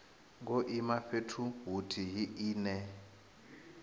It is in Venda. ngo ima fhethu huthihi ine